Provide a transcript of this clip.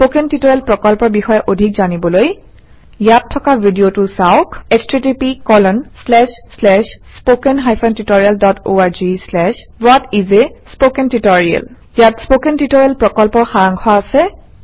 spoken tutorial প্ৰকল্পৰ বিষয়ে অধিক জানিবলৈ ইয়াত থকা ভিডিঅ চাওক - 1 ইয়াত স্পকেন টিউটৰিয়েল প্ৰকল্পৰ সাৰাংশ আছে